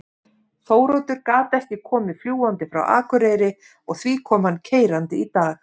Þóroddur gat ekki komið fljúgandi frá Akureyri og því kom hann keyrandi í dag.